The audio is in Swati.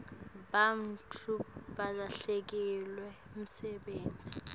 bantfu balahlekelwa msebenti